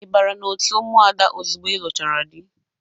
I bara na-otu ụmụada ozugbo ị lụchaara dị?